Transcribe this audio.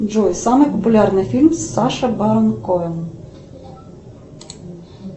джой самый популярный фильм с саша барон коэн